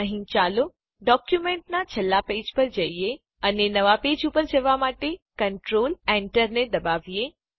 અહીં ચાલો ડોક્યુમેન્ટનાં છેલ્લા પેજ ઉપર જઈએ અને નવાં પેજ ઉપર જવાં માટે કન્ટ્રોલ enter ને દબાવીએ